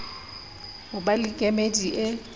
ho ba le kemedi e